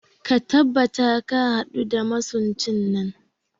Ka tabbata ka hadu da masuncin nan